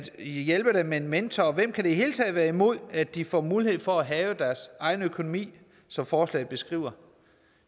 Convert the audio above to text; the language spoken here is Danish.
hjælpe dem med en mentor og hvem kan i det hele taget være imod at de får mulighed for at have deres egen økonomi som forslaget beskriver